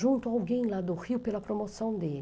Junto a alguém lá do Rio pela promoção dele.